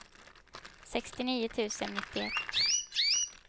sextionio tusen nittioett